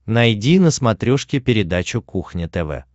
найди на смотрешке передачу кухня тв